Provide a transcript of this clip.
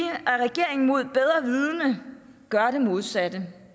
at regeringen mod bedre vidende gør det modsatte